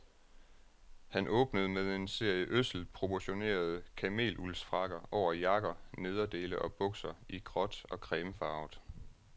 Han åbnede med en serie ødselt proportionerede kameluldsfrakker over jakker, nederdele og bukser i gråt og cremefarvet.